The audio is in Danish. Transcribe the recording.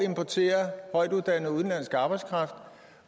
at importere højtuddannet udenlandsk arbejdskraft